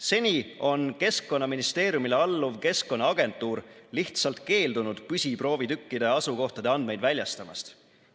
Seni on Keskkonnaministeeriumile alluv Keskkonnaagentuur lihtsalt keeldunud püsiproovitükkide asukohtade andmeid väljastamast.